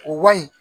O wa in